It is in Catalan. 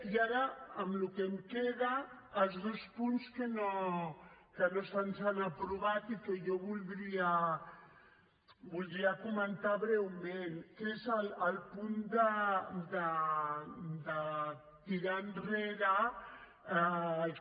i ara en el que em queda els dos punts que no se’ns han aprovat i que jo voldria comentar breument que és el punt de tirar enrere el que